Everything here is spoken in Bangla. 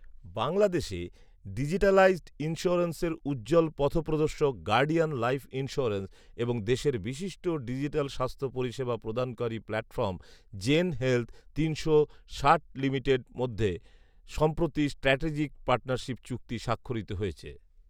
বাংলাদেশে ডিজিটালাইজড ইন্স্যুরেন্সের উজ্জ্বল পথপ্রদর্শক গার্ডিয়ান লাইফ ইন্স্যুরেন্স এবং দেশের বিশিষ্ট ডিজিটাল স্বাস্থ্য পরিষেবা প্রদানকারী প্ল্যাটফর্ম জেন হেলথ তিনশো ষাট লিমিটেড মধ্যে সম্প্রতি স্ট্র্যাটেজিক পার্টনারশিপ চুক্তি স্বাক্ষরিত হয়েছে